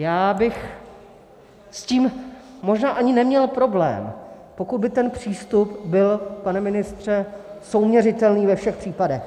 Já bych s tím možná ani neměl problém, pokud by ten přístup byl, pane ministře, souměřitelný ve všech případech.